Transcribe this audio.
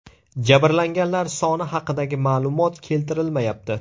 Jabrlanganlar soni haqidagi ma’lumot keltirilmayapti.